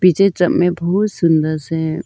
पीछे बहु सुंदर से हैं।